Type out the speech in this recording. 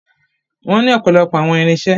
Wọ́n ní ọ̀pọ̀lọpọ̀ àwọn irinṣẹ́.